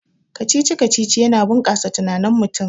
Kacici-kacici yana bunkasa tunanin mutum